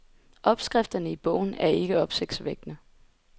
Opskrifterne i bogen er ikke opsigtsvækkende.